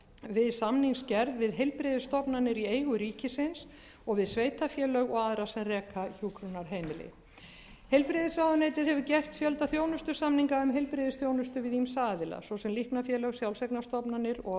við samningsgerð við heilbrigðisstofnanir í eigu ríkisins og við sveitarfélög og aðra sem reka hjúkrunarheimili heilbrigðisráðuneytið hefur gert fjölda þjónustusamninga um heilbrigðisþjónustu við ýmsa aðila svo sem líknarfélög sjálfseignarstofnanir og